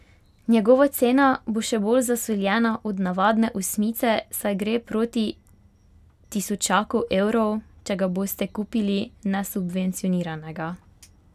Njegova cena bo še bolj zasoljena od navadne osmice, saj gre proti tisočaku evrov, če ga boste kupili nesubvencioniranega.